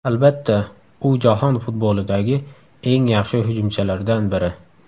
Albatta, u jahon futbolidagi eng yaxshi hujumchilardan biri.